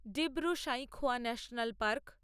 Dibru Saikhowa national park